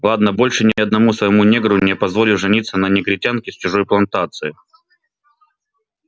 ладно больше ни одному своему негру не позволю жениться на негритянке с чужой плантации